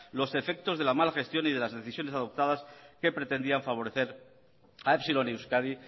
los efectos de la mala gestión y de las decisiones adoptadas que pretendían favorecer a epsilon euskadi